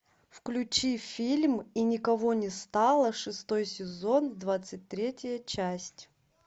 включи фильм и никого не стало шестой сезон двадцать третья часть